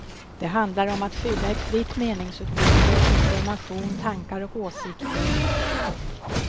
Det handlar om att skydda ett fritt meningsutbyte, information, tankar och åsikter.